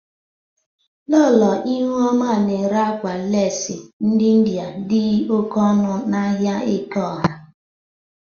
Lọlọ Ihuoma na-ere akwa lesi ndị Ịndịa dị oke ọnụ n'ahia Ekeọha.